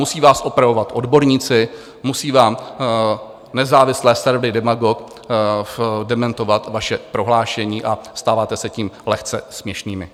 Musí vás opravovat odborníci, musí vám nezávislé servery Demagog dementovat vaše prohlášení a stáváte se tím lehce směšnými.